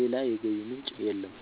ሌላ የገቢ ምንጭ የለም።